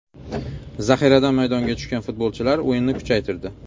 Zaxiradan maydonga tushgan futbolchilar o‘yinni kuchaytirdi.